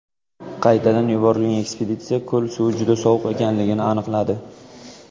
Qaytadan yuborilgan ekspeditsiya ko‘l suvi juda sovuq ekanligini aniqladi.